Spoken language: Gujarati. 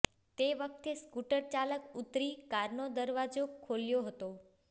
તે વખતે સ્કુટર ચાલક ઉતરી કારનો દરવાજો ખોલ્યો હતો